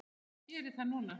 Hvað gerir það núna?